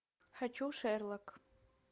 хочу шерлок